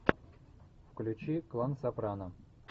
включи клан сопрано